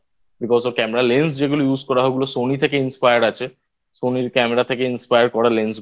Because ওর Camera Lens যেগুলো Use করা হয় Sony থেকে Inspired আছে Sony র Camera থেকে Inspire করা Lense গুলো